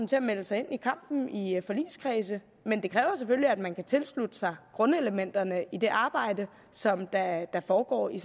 til at melde sig ind i kampen i forligskredse men det kræver selvfølgelig at man kan tilslutte sig grundelementerne i det arbejde som der foregår i